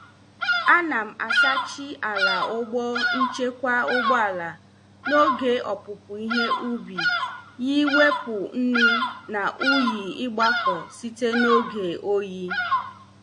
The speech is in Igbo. A nam- asachi ala ụlọ nchekwa ụgbọala n' oge opupu ihe ubi yi wepụ nnu na unyi igbako site na oge oyi.